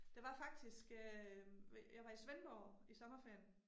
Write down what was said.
Der var faktisk øh jeg var i Svendborg i sommerferien